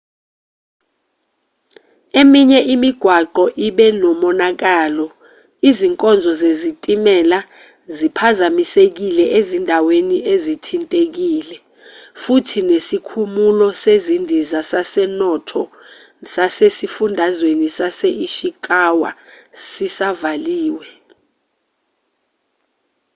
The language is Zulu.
eminye imigwaqo ibe nomonakalo izinkonzo zesitimela ziphazamisekile ezindaweni ezithintekile futhi nesikhumulo sezindiza sasenoto sasesifundazweni sase-ishikawa sisavaliwe